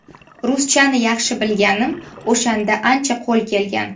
Ruschani yaxshi bilganim o‘shanda ancha qo‘l kelgan.